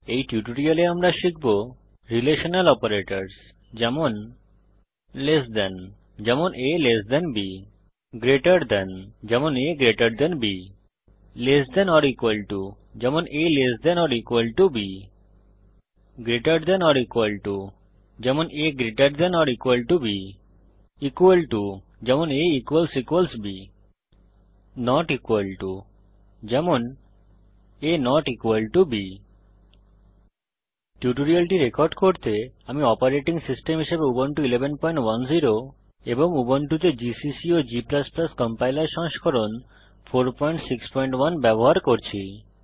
এই টিউটোরিয়ালে আমরা শিখব রিলেশনাল অপারেটরস যেমন লেস দেন160 যেমন a LT b greater than যেমন a GT b less than or equal to যেমন a lt b greater than or equal to যেমন a gt b equal to যেমন a b not equal to যেমন a160 b এই টিউটোরিয়ালটি record করতে আমি operating system হিসাবে Ubuntu 1110 এবং উবুন্টুতে জিসিসি ও g কম্পাইলার সংস্করণ 461 ব্যবহার করছি